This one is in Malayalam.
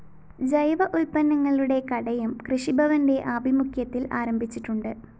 ജൈവ ഉത്പന്നങ്ങളുടെ കടയും കൃഷിഭവന്റെ ആഭിമുഖ്യത്തില്‍ ആരംഭിച്ചിട്ടുണ്ട്